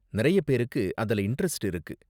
நிறைய பேருக்கு அதுல இண்டரெஸ்ட் இருக்கு.